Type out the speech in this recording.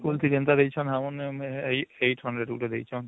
school କି ଯେନ୍ତା ଦେଇଛନ ଆମକୁ 800 ଗୁଟେ ଦେଇଛନ